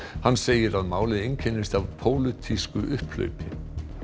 hann segir að málið einkennist af pólitísku upphlaupi